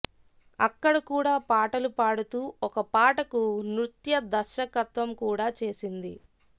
అక్కడ కూడా పాటలు పాడుతూ ఒక పాటకు నృత్యదర్శకత్వం కూడా చేసింది